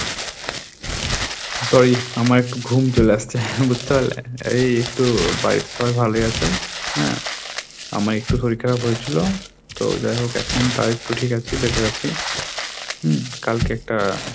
sorry আমার একটু ঘুম চলে আসছে বুঝতে পারলে! এই একটু বাড়িতে সবাই ভালোই আছে হ্যাঁ আমার একটু শরীর খারাপ হয়েছিল তো যাই হোক এখন তাও একটু ঠিক আছি better আছি হম কালকে একটা,